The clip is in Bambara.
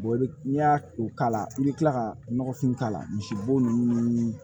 i bɛ n'i y'a o k'a la i bɛ kila ka nɔgɔfin k'a la misibo ninnu ni